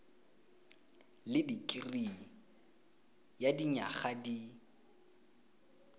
le dikirii ya dinyaga di